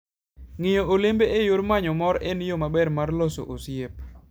Ng'iyo olembe e yor manyo mor en yo maber mar loso osiep.